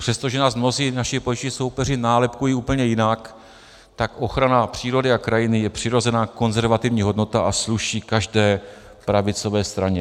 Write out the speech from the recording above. Přestože nás mnozí naši političtí soupeři nálepkují úplně jinak, tak ochrana přírody a krajiny je přirozená konzervativní hodnota a sluší každé pravicové straně.